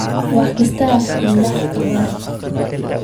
Wax kasta Alle ka bari.